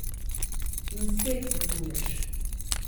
In spet potuješ.